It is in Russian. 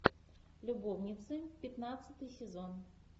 любовницы пятнадцатый сезон